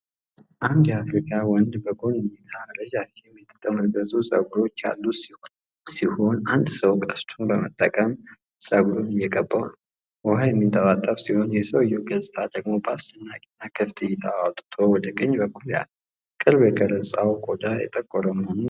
አንድ የአፍሪካ ወንድ በጎን እይታ ረዣዥም የጠመዘዙ ፀጉሮች ያሉት ሲሆን፤ አንድ ሰው ቀስቱን በመጠቀም ፀጉሩን እየቀባው ነው። ውሃ የሚንጠባጠብ ሲሆን፤ የሰውየው ገጽታ ደግሞ በአስደናቂ እና ክፍት እይታ አውጥቶ ወደ ቀኝ በኩል ያያል። የቅርብ ቀረጻው ቆዳው የጠቆረ መሆኑን ያሳያል።